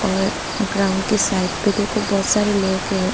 और ग्राउंड के साइड पे देखो बहुत सारे लोग है।